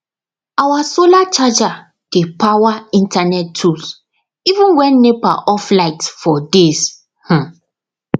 our solar charger dey power internet tools even when nepa off light for days um